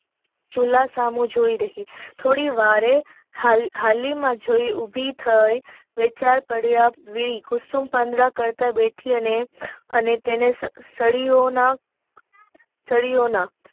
ચૂલા સૌ જોય રહી થોડી વારે હાલી માં જોય ઉભી થઈ વિચાર પડ્યા કુસુમ પડદા કરતા બેઠા અને તેને સળીયો ના